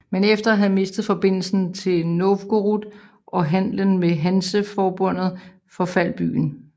Men efter at have mistet forbindelsen til Novgorod og handlen med Hanseforbundet forfaldt byen